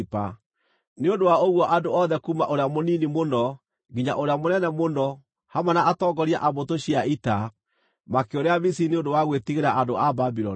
Nĩ ũndũ wa ũguo andũ othe kuuma ũrĩa mũnini mũno nginya ũrĩa mũnene mũno, hamwe na atongoria a mbũtũ cia ita, makĩũrĩra Misiri nĩ ũndũ wa gwĩtigĩra andũ a Babuloni.